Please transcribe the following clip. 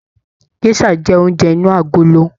Gèsà jẹ oúnjẹ inú agolo.